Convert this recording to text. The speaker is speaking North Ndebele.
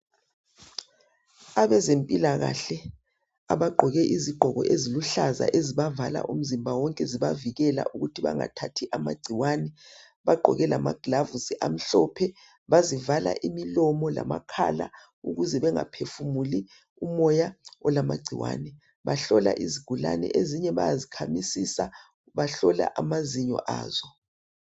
Abazempilakahle abagqoke izigqoko eziluhlaza ezibavala umzimba wonke eibavikela ukuthi bengathathi amagcikwane bagqoke lama glavu amhlophe bazivala umlomo lamakhala ukuze bengaphefumuli umoya olamagciwane bahlola izigulane ezinye bayazikhamisisa bahlola amazinyo aso